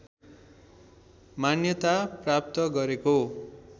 मान्यता प्राप्त गरेको